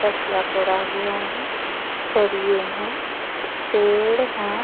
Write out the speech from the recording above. तसला पड़ा हुआ है सरिये है पेड़ है।